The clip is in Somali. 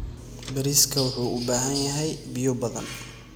Bariiska wuxuu u baahan yahay biyo badan.